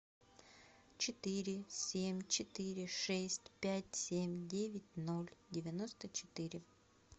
четыре семь четыре шесть пять семь девять ноль девяносто четыре